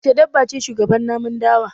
Wace dabba ce shugaban namun dawa?